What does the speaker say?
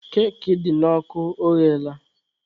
Keki dị n'ọkụ ọghela?